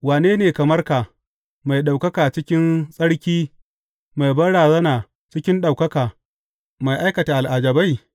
Wane ne kamar ka, mai ɗaukaka cikin tsarki, mai banrazana cikin ɗaukaka, mai aikata al’ajabai?